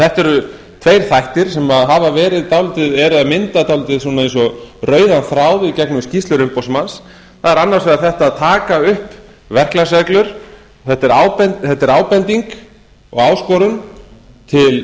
þetta eru tveir þættir sem eru að mynda dálítið rauðan þráð í gegnum skýrslur umboðsmanns það er annars vegar þetta að taka upp verklagsreglur þetta er ábending og áskorun til